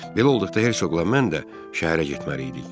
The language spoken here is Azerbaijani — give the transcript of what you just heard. Belə olduqda Hersoqla mən də şəhərə getməliydik.